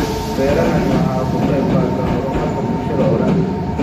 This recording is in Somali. Beerahani waxa uu ka qayb qaataa horumarka bulshada oo dhan.